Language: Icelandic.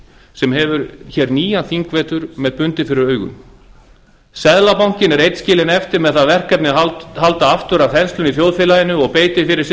sem hefur hér nýjan þingvetur með bundið fyrir augum seðlabankinn er einn skilinn eftir með það verkefni að halda aftur af þenslunni í þjóðfélaginu og beitir fyrir sig